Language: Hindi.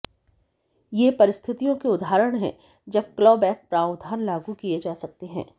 ये परिस्थितियों के उदाहरण हैं जब क्लॉबैक प्रावधान लागू किए जा सकते हैं